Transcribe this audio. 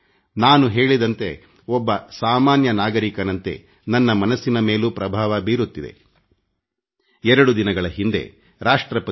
2 ದಿನಗಳ ಹಿಂದೆ ರಾಷ್ಟ್ರಪತಿ ಭವನದಲ್ಲಿ ಮನ್ ಕಿ ಬಾತ್ ನ ವಿಶ್ಲೇಷಣಾತ್ಮಕ ಪುಸ್ತಕ ಬಿಡುಗಡೆ ಕಾರ್ಯಕ್ರಮ ಇತ್ತು